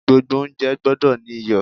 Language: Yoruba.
Gbogbo oúnjẹ gbọ́dọ̀ ní iyọ̀.